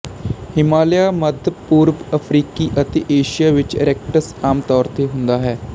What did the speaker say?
ਹਿਮਾਲਿਆ ਮੱਧ ਪੂਰਬ ਅਫਰੀਕਾ ਅਤੇ ਏਸ਼ੀਆ ਵਿੱਚ ਰੈਕਟਸ ਆਮ ਤੌਰ ਤੇ ਹੁੰਦਾ ਹੈ